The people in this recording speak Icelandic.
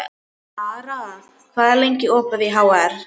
Lara, hvað er lengi opið í HR?